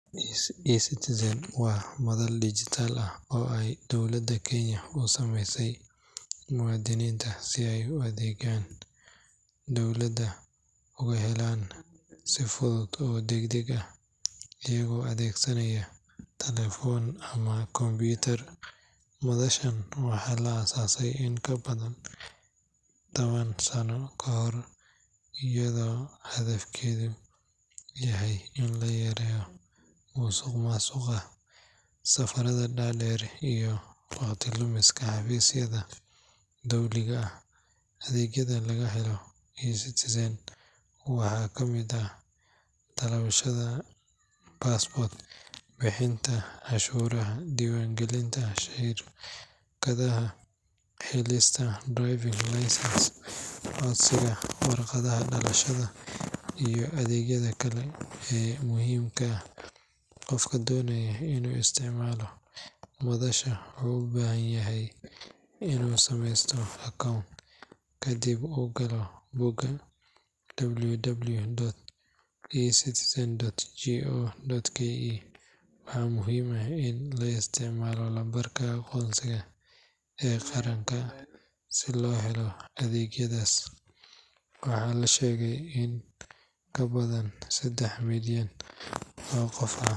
eCitizen waa madal dhijitaal ah oo ay dowladda Kenya u sameysay muwaadiniinta si ay adeegyada dowladda uga helaan si fudud oo degdeg ah iyagoo adeegsanaya taleefan ama kombiyuutar. Madashan waxaa la aasaasay in ka badan toban sano ka hor iyadoo hadafkeedu yahay in la yareeyo musuqmaasuqa, safarada dhaadheer iyo waqti lumiska xafiisyada dowliga ah. Adeegyada laga helo eCitizen waxaa ka mid ah dalbashada passport, bixinta cashuuraha, diiwaangelinta shirkadaha, helista driving license, codsiga warqadda dhalashada iyo adeegyada kale ee muhiimka ah. Qofka doonaya inuu isticmaalo madashan wuxuu u baahan yahay inuu sameysto account kadibna uu galo bogga www.ecitizen.go.ke. Waxaa muhiim ah in la isticmaalo lambarka aqoonsiga ee qaranka si loo helo adeegyadaas. Waxaa la sheegay in in ka badan saddex milyan oo qof.